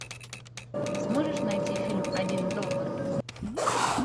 сможешь найти фильм один доллар